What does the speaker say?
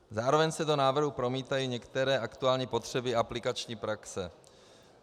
Zároveň se do návrhu promítají některé aktuální potřeby aplikační praxe.